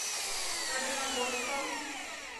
каменногорском